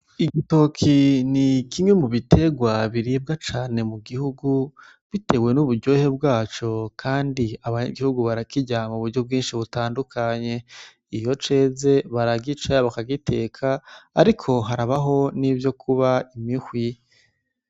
Igitoki ni kimwe mu biterwa biribwa cane mu gihugu bitewe n'uburyohe bwaco kandi abanyagihugu barakirya mu buryo bwinshi butandukanye . Iyo ceze baragica bakagiteka ariko harabaho n'ivyo kuba imihwi.